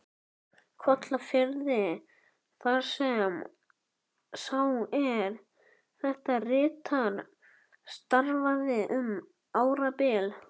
Kollafirði, þar sem sá, er þetta ritar, starfaði um árabil.